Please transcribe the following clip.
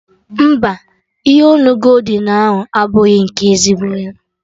Mba, ihe onu goldin ahụ abụrọ nke ezigbo ya